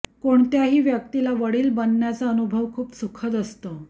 कोणत्याही व्यक्तीला वडील बनण्याचा अनुभव खूप सुखद असतो